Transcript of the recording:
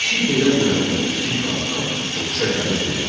İşi belə görəndə kiçik qardaş cuşa gəlib dedi: